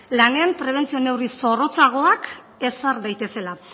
lanean prebentzio neurri zorrotzagoak ezar daitezela